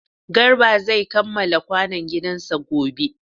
Garba zai kamala kwanon gidan sa gobe